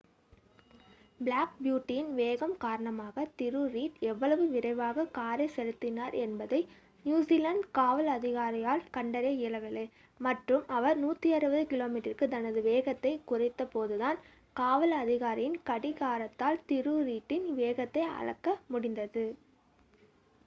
Black பியூட்டியின் வேகம் காரணமாக திரு.ரீட் எவ்வளவு விரைவாக காரை செலுத்தினார் என்பதை நியுசிலாந்து காவல் அதிகாரியால் கண்டறிய இயலவில்லை மற்றும் அவர் 160km/hக்கு தனது வேகத்தை குறைத்தபோதுதான் காவல் அதிகாரியின் கடிகாரத்தால் திரு. ரீட்டின் வேகத்தை அளக்க முடிந்தது